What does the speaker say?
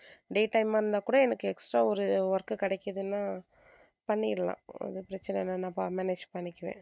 day time ஆ இருந்தா கூட எனக்கு extra ஒரு work கிடைக்குதுன்னா பண்ணிடலாம் ஒண்ணும் பிரச்சனை இல்ல நான் manage பண்ணிக்குவேன்.